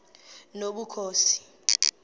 nobukhosi